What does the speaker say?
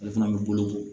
Ale fana bɛ boloko